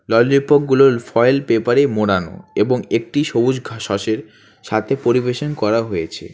Lollipop গুলো foil পেপারে মোড়ানো এবং একটি সবুজ ঘাস শসের সাথে পরিবেশন করা হয়েছে।